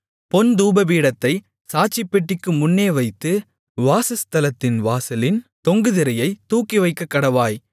பொன் தூபபீடத்தைச் சாட்சிப்பெட்டிக்கு முன்னே வைத்து வாசஸ்தலத்தின் வாசலின் தொங்கு திரையைத் தூக்கிவைக்கக்கடவாய்